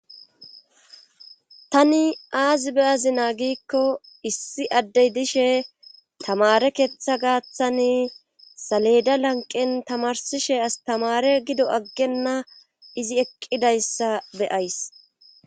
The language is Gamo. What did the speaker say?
tani aazi beyazinaa giikko issi addey dishe tamare keeththa gaaththani saleda lanqen tamarsishe astamare gido aggenna izi eqqidayssa beyays